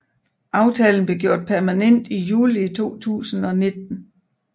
Aftalen blev gjort permanent i juli 2019